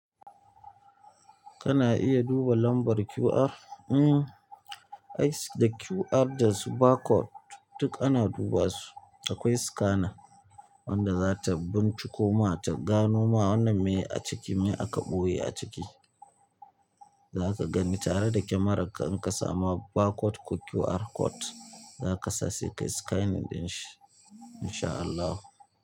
Kana iya duba lambar QR? Mm, ice da QR da su barcode duk ana duba su. Akwai scanner wanda za ta binciko ma ta gano ma wannan me a ciki, me aka ɓoye a ciki. Za ka gani tare da kyamararka in ka samu barcode ko QR code za ka sa sai kayi scanning ɗinshi in sha Allah.